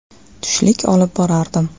Tushlik olib borardim.